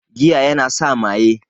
Giya yana sa maye